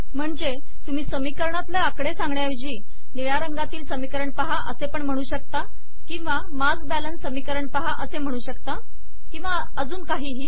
म्हणजे तुम्ही समीकरणातले आकडे सांगण्या ऐवजी निळ्या रंगातील समीकरण पहा असे म्हणू शकता किंवा मास बॅलन्स समीकरण पहा म्हणू शकता किंवा अन्य काही